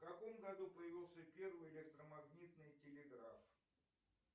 в каком году появился первый электромагнитный телеграф